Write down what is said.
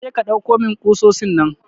Kaje ka dauko min ƙusosin nan.